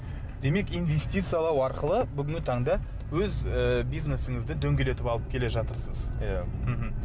демек инвестициялау арқылы бүгінгі таңда өз ыыы бизнесіңізді дөңгелетіп алып келе жатырсыз иә мхм